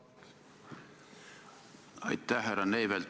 Aitäh, härra Neivelt!